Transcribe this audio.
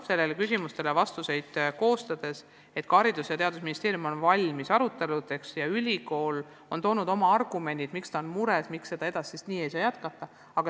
Sellele arupärimisele vastuseid koostades sain ma aru, et ka Haridus- ja Teadusministeerium on valmis aruteludeks ja ülikool on toonud oma argumendid, miks ta on mures, miks ei saa vanaviisi jätkata.